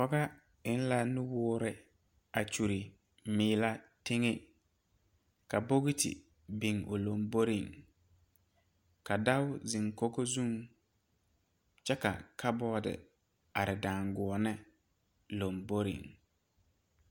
pɔga eŋ la nuwoɔri a kyoli miillɛ teŋe ka bogikyi biŋ o lamboriŋ, ka dɔɔ zeŋ dakogi zu kyɛ ka cupboarde are daangɔneŋ lomboriŋ.